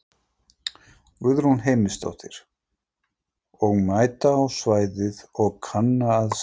Guðrún Heimisdóttir: Og mæta á svæðið og kanna aðstæður?